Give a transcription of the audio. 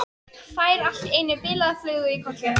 Fær allt í einu bilaða flugu í kollinn.